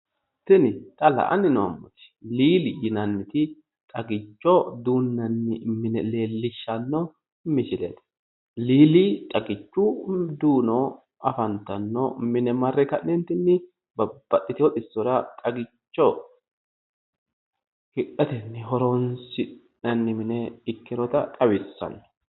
Tini xa la'anni noommooti liili yinanniti xagicho duunnanni mine leellishshanno misileeti. liili xagichu mini duuno afantanno mine marre ka'neetinni babbaxititeewo xissora xagicho hidhate horonsi'nanni mine ikkinota xawissanno.